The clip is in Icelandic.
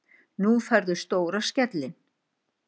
Nú færðu stóra skellinn.